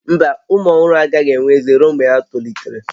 Mba, ụmụ ọhụrụ agaghị enwe ezé ruo mgbe ha tolitere